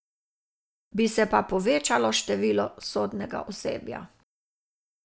Bi se pa povečalo število sodnega osebja.